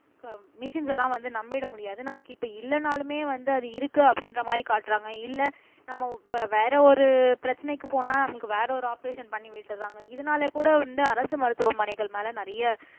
machines எல்லாம் வந்து நம்பிட முடியாது நமக்கு இப்ப இல்லைனாலுமே வந்து அது இருக்கு அப்படின்ற மாதிரி காட்டுறாங்க இல்லை நம்ம வே வேற ஒரு பிரச்சனைக்கு போனா நமக்கு வேற ஒரு ஆபரேஷன் பண்ணி விட்டுறாங்க இதனால கூட வந்து அரசு மருத்துவமனைகள் மேல நிறைய